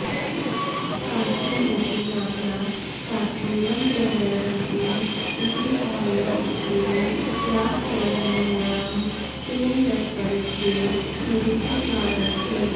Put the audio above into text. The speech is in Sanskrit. काशीर् इति नाम्ना काश्मीरं व्यवहरन्ति इति औरेल् स्टीन् राजतरङ्गिण्यां तेन दत्तपरिचये निरूपितवान् अस्ति